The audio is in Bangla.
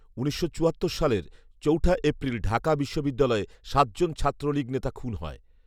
উনিশশো চুয়াত্তর সালের চার এপ্রিল ঢাকা বিশ্ববিদ্যালয়ে সাত জন ছাত্রলীগ নেতা খুন হয়